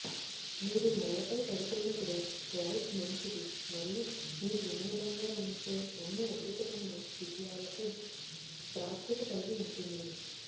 మీరు నేలపై పడుతున్నప్పుడు లైఫ్ మంచిది మరియు మీరు వినోదంగా ఉంచే అన్ని అద్భుతమైన విషయాలకు ప్రాప్యత కలిగి ఉంటుంది